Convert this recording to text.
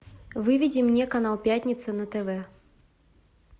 выведи мне канал пятница на тв